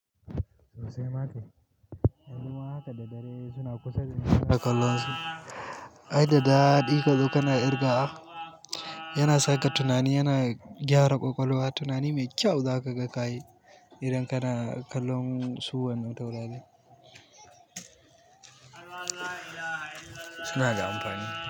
Sosai ma kai. Al'umma haka da dare suna kusa dani ina kallon su. Ai da ɗaɗi ka zo kana ƙirgawa yana saka tunani, yana gyara ƙwaƙwalwa. Tunani mai kyau za ka ga ka yi idan kana kallon su wannan taurarin. Suna da amfani.